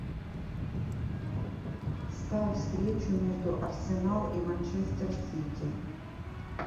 ставь встречу между арсенал и манчестер сити